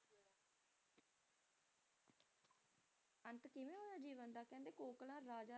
ਅੰਤ ਕਿਵੇਂ ਹੋਇਆ ਜੀਵਨ ਦਾ ਕਹਿੰਦੇ Kokla ਰਾਜੇ